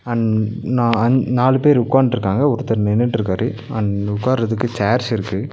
And நா and நாலு பேர் உக்காந்ட்ருக்காங்க ஒருத்தர் நின்னுட்ருக்காரு அண்ட் உக்காரதுக்கு சேர்ஸ்ஸ இருக்கு.